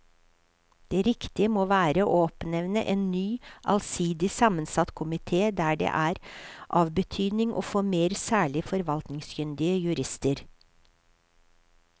Det riktige må være å oppnevne en ny allsidig sammensatt komite der det er av betydning å få med særlig forvaltningskyndige jurister.